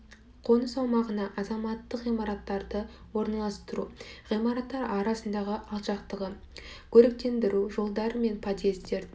қоныс аумағына азаматтық ғимараттарды орналастыру ғимараттар арасындағы алшақтығы көріктендіру жолдар мен подъездер